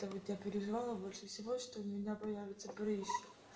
та вот я переживала больше всего что у меня появится прыщик